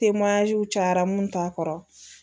cayara mun t'a kɔrɔ